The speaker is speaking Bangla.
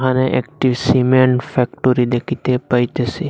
এখানে একটি সিমেন্ট ফ্যাক্টরি দেখিতে পাইতেসি।